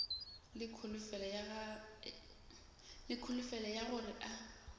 le kholofelo ya gore a